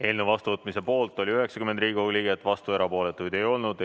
Eelnõu vastuvõtmise poolt oli 90 Riigikogu liiget, vastuolijaid ja erapooletuid ei olnud.